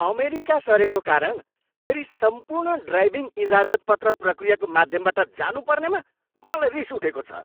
America सरेको कारण फेरि सम्पूर्ण ड्राइभिङ इजाजतपत्र प्रक्रियाको माध्यमबाट जानुपर्नेमा मलाई रिस उठेको छ।